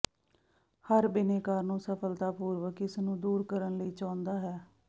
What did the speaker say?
ਹਰ ਬਿਨੈਕਾਰ ਨੂੰ ਸਫਲਤਾਪੂਰਕ ਇਸ ਨੂੰ ਦੂਰ ਕਰਨ ਲਈ ਚਾਹੁੰਦਾ ਹੈ